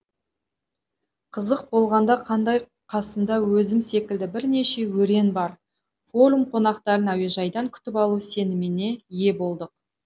қызық болғанда қандай қасымда өзім секілді бірнеше өрен бар форум қонақтарын әуежайдан күтіп алу сеніміне ие болдық